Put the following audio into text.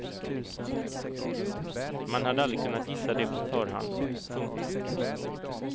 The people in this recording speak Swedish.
Man hade aldrig kunnat gissa det på förhand. punkt